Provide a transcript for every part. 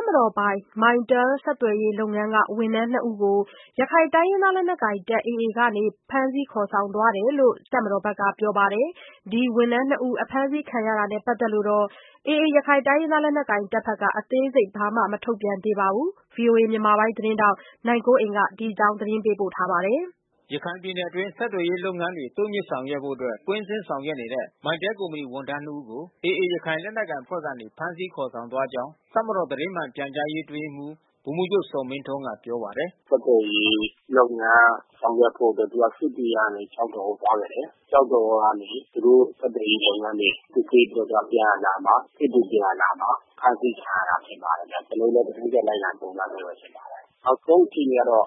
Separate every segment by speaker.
Speaker 1: ပ်မတော်ပိုင် Mytel ဆက်သွယ်ရေးလုပ်ငန်းက ဝန်ထမ်းနှစ်ဦးကို ရခိုင်လက်နက်ကိုင် AA အဖွဲ့က ဖမ်းဆီးခေါ်ဆောင်သွားတယ်လို့ တပ်မတော်ဘက်က ပြောပါတယ်။ ဒီလို အစိုးရလုပ်ငန်း ဝန်ထမ်းတွေကို ဖမ်းဆီးတာဟာ AA အနေနဲ့ အာဏာတည်ဆောက်တာလို့လည်း ပြောပါတယ်။ တပ်မတော်ကနေ ထုတ်ပြန်တဲ့ ဝန်ထမ်းဖမ်းဆီးမှု သတင်းအပေါ် မသိရှိသေးဘူးလို့ AA ဘက်က ပြောပါတယ်။ အပြည့်အစုံကို ဗွီအိုအေ မြန်မာပိုင်းသတင်းထောက် နိုင်ကွန်းအိန် သတင်းပေးပို့ထားပါတယ်
Speaker 2: ။ ရခိုင်ပြည်နယ်အတွင်း ဆက်သွယ်ရေးလုပ်ငန်းတွေကို တိုးမြှင့်ဆောင်ရွက်ဖို့အတွက် ကွင်းဆင်းဆောင်ရွက်နေတဲ့ Mytel ကုမ္ပဏီဝန်ထမ်းနှစ်ဦးကို AA ရခိုင်လက်နက်ကိုင်အဖွဲ့ကနေ ဖမ်းဆီးခေါ်ဆောင်သွားကြောင်း တပ်မတော် သတင်းမှန်ပြန်ကြားရေး အတွင်းရေးမှူး ဗိုလ်မှူးချုပ်ဇော်မင်းထွန်းက ပြောပါတယ်
Speaker 1: ။ “ဆက်သွယ်ရေးလုပ်ငန်း ဆောင်ရွက်ဖို့အတွက် သူက စစ်တွေကနေ ကျောက်တော်ကို သွားပါတယ်။ ကျောက်တော်ကနေ သူတို့ ဆက်သွယ်ရေးလုပ်ငန်းတွေ စစ်ဆေးပြီးတော့ ပြန်အလာမှာ ဖမ်းဆီးခံရတာ ဖြစ်ပါတယ်။ ကျနော်တို့လည်း သတင်းလိုက်လံစုံစမ်းဆဲပဲ ဖြစ်ပါတယ်။ နောက်ဆုံးအခြေအနေကတော့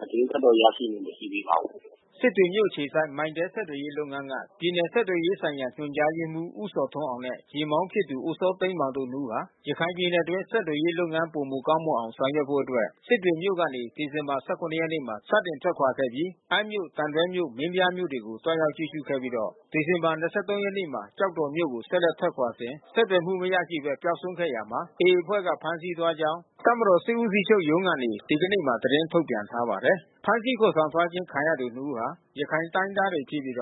Speaker 1: သတင်း ထပ်တော့ရရှိမှု မရှိသေးပါဘူး။”
Speaker 2: စစ်တွေမြို့အခြေစိုက် Mytel ဆက်သွယ်ရေးလုပ်ငန်းက ပြည်နယ် ဆက်သွယ်ရေးဆိုင်ရာ ညွှန်ကြားရေးမှူး ဦးဇော်ထွန်းအောင်နဲ့ ယာဉ်မောင်းဖြစ်သူ ဦးစောသိန်းမောင်တို့ နှစ်ဦးဟာ ရခိုင်ပြည်နယ်အတွင်း ဆက်သွယ်ရေးလုပ်ငန်း ပိုမိုကောင်းမွန်အောင် ဆောင်ရွက်ဖို့အတွက် စစ်တွေမြို့ကနေ ဒီဇင်ဘာ ၁၇ ရက်မှာ စတင်ထွက်ခွာခဲ့ပြီး အမ်းမြို့၊ သံတွဲမြို့၊ မင်းပြားမြို့တွေကို သွားရောက်ကြည့်ရှုခဲ့ပြီး ဒီဇင်ဘာ ၂၃ ရက်မှာ ကျောက်တော်မြို့ကို ဆက်လက်ထွက်ခွာစဉ် ဆက်သွယ်မှုမရရှိဘဲ ပျောက်ဆုံးသွားရာမှာ AA အဖွဲ့က ဖမ်းဆီးသွားကြောင်း တပ်မတော်စစ်ဦးစီးချုပ်ရုံးကနေ ဒီကနေ့မှာ သတင်းထုတ်ပြန်ထားပါတယ်။ ဖမ်းဆီးခေါ်ဆောင်သွားခြင်း ခံရသူနှစ်ဦးဟာ ရခိုင်တိုင်းရင်းသားတွေဖြစ်ပြီး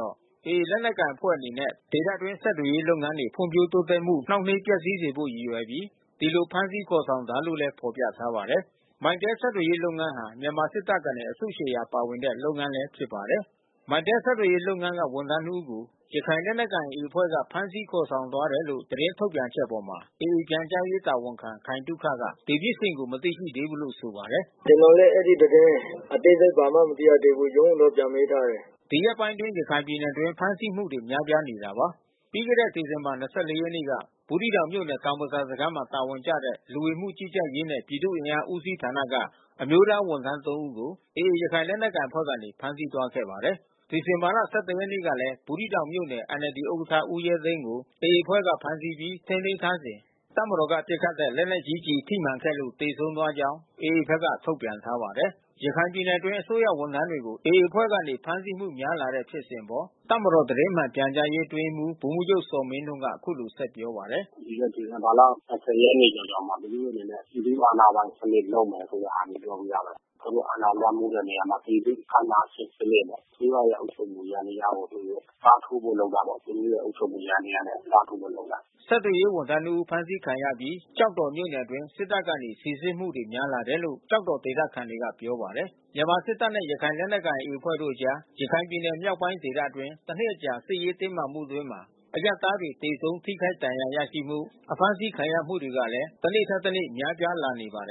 Speaker 2: AA ရခိုင်လက်နက်ကိုင်အဖွဲ့ အနေနဲ့ ဒေသတွင်း ဆက်သွယ်ရေးလုပ်ငန်းတွေ ဖွံ့ဖြိုးတိုးတက်မှု နှောင့်နှေးပျက်စီးစေဖို့ ရည်ရွယ်ပြီး ဒီလို ဖမ်းဆီးခေါ်ဆောင်တာလို့လည်း ဖော်ပြထားပါတယ်။ Mytel ဆက်သွယ်ရေးလုပ်ငန်းဟာ မြန်မာစစ်တပ်ကနေ အစုရှယ်ရာ ပါဝင်တဲ့ လုပ်ငန်းလည်း ဖြစ်ပါတယ်။ Mytel ဆက်သွယ်ရေးလုပ်ငန်းမှ ဝန်ထမ်းနှစ်ဦးကို ရခိုင်လက်နက်ကိုင် AA အဖွဲ့က ဖမ်းဆီးခေါ်ဆောင်သွားတယ်လို့ သတင်းထုတ်ပြန်ချက်အပေါ် AA ပြန်ကြားရေးတာဝန်ခံ ခိုင်သုခက ဒီဖြစ်စဉ်ကို မသိသေးဘူးလို့ ဆိုပါတယ်။ “ကျနော်လည်း အဲဒီသတင်း အသေးစိတ် ဘာမှမသိရသေးဘူး။ ရုံးကိုတော့ ပြန်မေးထားတယ်။” ဒီရက်ပိုင်းမှာ ရခိုင်ပြည်နယ်အတွင်း ဖမ်းဆီးမှုတွေ များပြားနေတာပါ။ ပြီးခဲ့တဲ့ ဒီဇင်ဘာ ၂၄ ရက်နေ့က ဘူးသီးတောင်မြို့နယ် တောင်ဘဇာစခန်းမှာ တာဝန်ကျတဲ့ လူဝင်မှုကြီးကြပ်ရေးနဲ့ ပြည်သူ့အင်အား ဦးစီးဌာနက အမျိုးသားဝန်ထမ်း ၃ ဦးကို AA ရခိုင်လက်နက်ကိုင်အဖွဲ့ကနေ ဖမ်းဆီးသွားခဲ့ပါတယ်။ ဒီဇင်ဘာလ ၁၁ ရက်နေ့ကလည်း ဘူးသီးတောင်မြို့နယ် NLD ဥက္ကဋ္ဌ ဦးရဲသိန်းကို AA အဖွဲ့က ဖမ်းဆီးပြီး ထိန်းသိမ်းထားစဉ် တပ်မတော်က ပစ်ခတ်တဲ့ လက်နက်ကြီးကျည် ထိမှန်ခဲ့လို့ သေဆုံးသွားကြောင်း AA ဘက်က ထုတ်ပြန်ထားပါတယ်။ ရခိုင်ပြည်နယ်အတွင်း အစိုးရဝန်ထမ်းတွေကို AA အဖွဲ့ကနေ ဖမ်းဆီးမှုများလာတဲ့ ဖြစ်စဉ်အပေါ် တပ်မတော် သတင်းမှန်ပြန်ကြားရေး အတွင်းရေးမှူး ဗိုလ်မှူးချုပ်ဇော်မင်းထွန်းက အခုလို ဆက်ပြောပါတယ်။ “ဒီဇင်ဘာလ ၂၀ ရက်နေ့ကျော်ကျော်မှာ သူတို့အနေနဲ့ ပြည်သူအာ
Speaker 1: ဏာပိုင်စနစ် ပြုလုပ်မယ် ဆိုတဲ့ဟာ ပြောပြီးသားပဲ။ သူတို့ အာဏာလွှမ်းမိုးတဲ့ နေရာမှာ ပြည်သူ့အာဏာရှင်စနစ်ပေါ့။ အစိုးရအုပ်ချုပ်မှု ယန္တရားကို အစားထိုးဖို့ သူတို့လုပ်တာပေါ့။ သူတို့ရဲ့ အုပ်ချုပ်မှုယန္တ
Speaker 2: ရားကို အစားထိုးဖို့လုပ်တာ။” ဆက်သွယ်ရေးဝန်ထမ်းနှစ်ဦး ဖမ်းဆီးခံရအပြီး ကျောက်တော်မြို့နယ်အတွင်း စစ်တပ်ဘက်က စိစစ်မှုတွေ များလာတယ်လို့ ကျောက်တော်ဒေသခံတွေက ပြောပါတယ်။ မြန်မာစစ်တပ်နဲ့ ရခိုင်လက်နက်ကိုင် AA အဖွဲ့တို့အကြား ရခိုင်ပြည်နယ် မြောက်ပိုင်းဒေသအတွင်း တနှစ်အကြာ စစ်ရေးတင်းမာမှုအတွင်းမှာ အရပ်သားတွေ သေဆုံးထိခိုက်ဒဏ်ရာရရှိမှု၊ အဖမ်းဆီးခံရမှုတွေကလည်း တနေ့ထက်တနေ့ များပြား
Speaker 1: လာနေပါတယ်